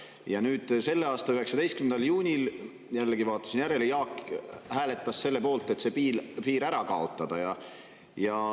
Ja nüüd selle aasta 19. juunil – jällegi vaatasin järele – hääletas Jaak selle poolt, et see piir ära kaotada.